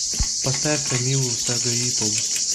поставь тамилу сагаипову